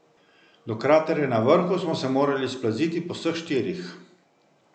Do kraterja na vrhu smo se morali splaziti po vseh štirih.